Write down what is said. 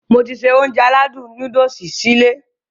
Mo ti se Ounjẹ aládùn nóódùsì sí ilé